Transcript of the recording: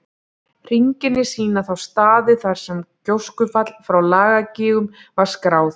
Hringirnir sýna þá staði þar sem gjóskufall frá Lakagígum var skráð.